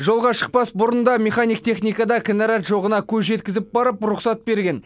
жолға шықпас бұрын да механик техникада кінәрат жоғына көз жеткізіп барып рұқсат берген